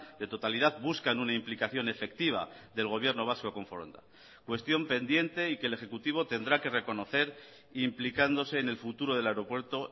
de totalidad buscan una implicación efectiva del gobierno vasco con foronda cuestión pendiente y que el ejecutivo tendrá que reconocer implicándose en el futuro del aeropuerto